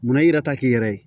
Munna i yɛrɛ ta k'i yɛrɛ ye